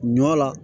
Ɲɔ la